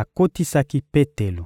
akotisaki Petelo.